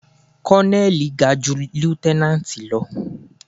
Kọ́lọ́nẹ́lì ga ju líútẹ́nánátì lọ.